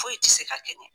Foyi tɛ se ka kɛ ɲɛ